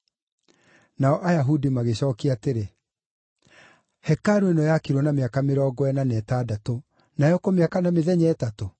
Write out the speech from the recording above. Nao Ayahudi magĩcookia atĩrĩ, “Hekarũ ĩno yakirwo na mĩaka mĩrongo ĩna na ĩtandatũ, nawe ũkũmĩaka na mĩthenya ĩtatũ?”